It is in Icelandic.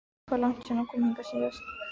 Hvað er langt síðan hann kom hingað síðast?